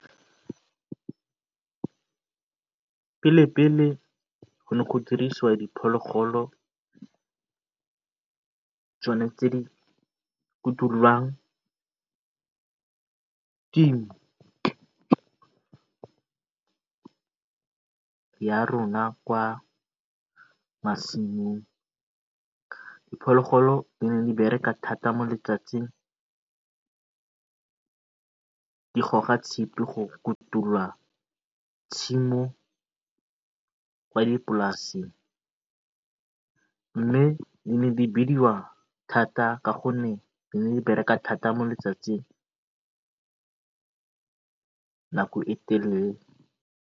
Pele pele gone go dirisiwa diphologolo tsone tse di ya rona kwa masimong, diphologolodi ne di bereka thata mo letsatsing di goga tshipi go kutula tshimo kwa dipolaseng mme di ne di bidiwa thata ka gonne di ne di bereka mo letsatsing nako e telele.